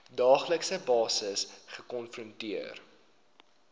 daaglikse basis gekonfronteer